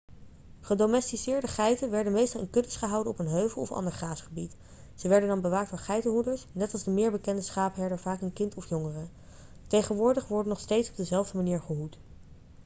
gedomesticeerde geiten werden meestal in kuddes gehouden op een heuvel of ander graasgebied ze werden dan bewaakt door geitenhoeders net als de meer bekende schaapherder vaak een kind of jongere tegenwoordig wordt nog steeds op dezelfde manier gehoed